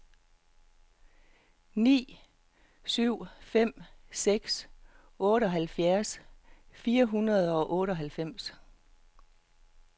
ni syv fem seks otteoghalvfjerds fire hundrede og otteoghalvfems